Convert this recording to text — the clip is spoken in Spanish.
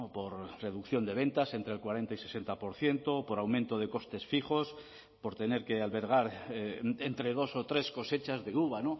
por reducción de ventas entre el cuarenta y sesenta por ciento por aumento de costes fijos por tener que albergar entre dos o tres cosechas de uva